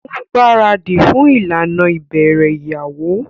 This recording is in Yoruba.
O ngbaradi fún ìlànà ibẹrẹ ìyàwó